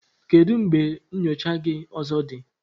Kedu mgbe nyocha gị ọzọ dị?